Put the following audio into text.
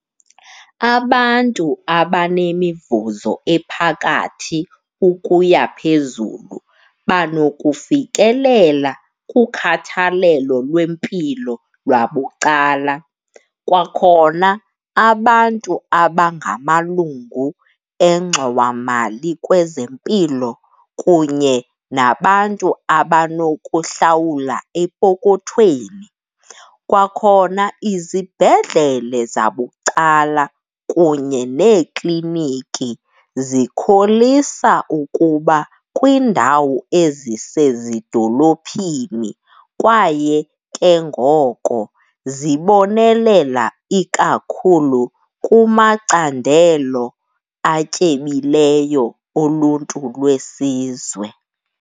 Abantu abanemivuzo ephakathi ukuya phezulu banokufikelela kukhathalelo lwempilo lwabucala, kwakhona abantu abangamalungu engxowamali kwezempilo kunye nabantu abanokuhlawula epokothweni. Kwakhona izibhedlele zabucala kunye neekliniki zikholisa ukuba kwiindawo ezisezidolophini kwaye ke ngoko zibonelela ikakhulu kumacandelo atyebileyo oluntu lwesizwe.